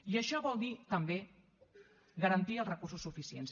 i això vol dir també garantir els recursos suficients